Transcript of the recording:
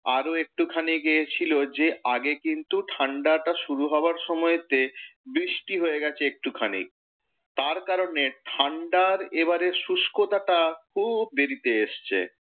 আরও একটু খানি গিয়েছিল যে আগে কিন্তু ঠাণ্ডাটা শুরু হওয়ার সময়তে বৃষ্টি হয়ে গেছে একটু খানি। তার কারণে ঠাণ্ডার এবারের শুষ্কতাটা খুব দেরিতে এসেছে।